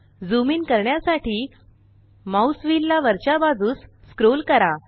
zoom in करण्यासाठी mouse wheel ला वरच्या बाजूस स्क्रोल करा